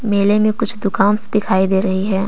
मेले में कुछ दुकान्स दिखाई दे रही है।